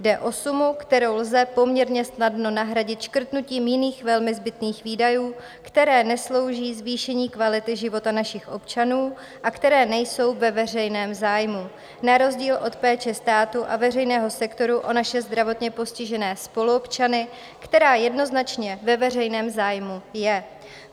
Jde o sumu, kterou lze poměrně snadno nahradit škrtnutím jiných, velmi zbytných výdajů, které neslouží zvýšení kvality života našich občanů a které nejsou ve veřejném zájmu na rozdíl od péče státu a veřejného sektoru o naše zdravotně postižené spoluobčany, která jednoznačně ve veřejném zájmu je.